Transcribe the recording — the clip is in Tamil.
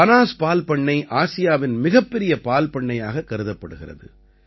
பனாஸ் பால்பண்ணை ஆசியாவின் மிகப்பெரிய பால்பண்ணையாக கருதப்படுகிறது